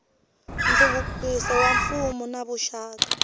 nhluvukiso wa mfuwo na vuxaka